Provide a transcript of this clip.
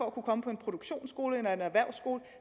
at kunne komme på en produktionsskole eller en erhvervsskole